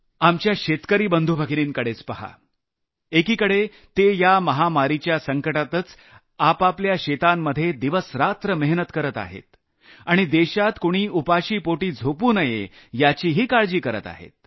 आपल्या शेतकरी बंधुभगिनींकडेच पहाएकीकडे ते या महामारीच्या संकटातच आपापल्या शेतांमध्ये दिवसरात्र मेहनत करत आहेत आणि देशात कुणी उपाशीपोटी झोपू नये याचीही काळजी करत आहेत